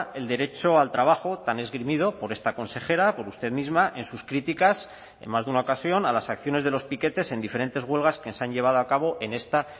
el derecho al trabajo tan esgrimido por esta consejera por usted misma en sus críticas en más de una ocasión a las acciones de los piquetes en diferentes huelgas que se han llevado a cabo en esta